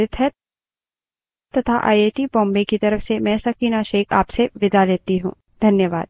यह script देवेन्द्र कैरवान द्वारा अनुवादित है तथा आई आई टी बॉम्बे की तरफ से मैं सकीना अब आप से विदा लेती हूँ